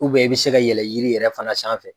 i bɛ se ka yɛlɛ yiri yɛrɛ fana sanfɛ.